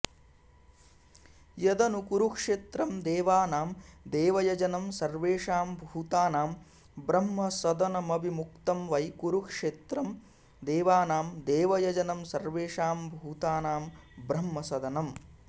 यदनु कुरुक्षेत्रं देवानां देवयजनं सर्वेषां भूतानां ब्रह्मसदनमविमुक्तं वै कुरुक्षेत्रं देवानां देवयजनं सर्वेषां भूतानां ब्रह्मसदनम्